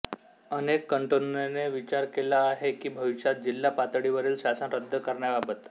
अनेक कॅन्टोनने विचार केला आहे की भविष्यात जिल्हा पातळीवरील शासन रद्द करण्याबाबत